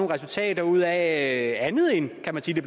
resultater ud af andet end kan man sige